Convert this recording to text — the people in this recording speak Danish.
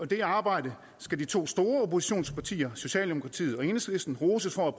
det arbejde skal de to store oppositionspartier socialdemokratiet og enhedslisten roses for at